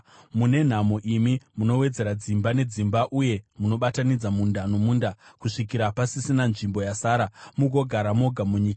Mune nhamo imi munowedzera dzimba nedzimba uye munobatanidza munda nomunda, kusvikira pasisina nzvimbo yasara, mugogara moga munyika.